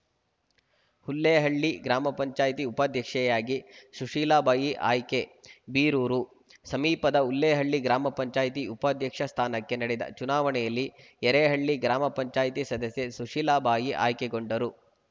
ಹುಲ್ಲೇಹಳ್ಳಿ ಗ್ರಾಮ ಪಂಚಾಯತಿ ಉಪಾಧ್ಯಕ್ಷೆಯಾಗಿ ಸುಶೀಲಬಾಯಿ ಆಯ್ಕೆ ಬೀರೂರು ಸಮೀಪದ ಹುಲ್ಲೇಹಳ್ಳಿ ಗ್ರಾಮ ಪಂಚಾಯತಿ ಉಪಾಧ್ಯಕ್ಷ ಸ್ಥಾನಕ್ಕೆ ನಡೆದ ಚುನಾವಣೆಯಲ್ಲಿ ಯರೇಹಳ್ಳಿ ಗ್ರಾಮ ಪಂಚಾಯತಿ ಸದಸ್ಯೆ ಸುಶೀಲಬಾಯಿ ಆಯ್ಕೆಗೊಂಡರು